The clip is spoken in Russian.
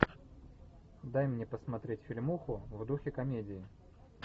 дай мне посмотреть фильмуху в духе комедии